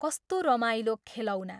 कस्तो रमाइलो खेलौना!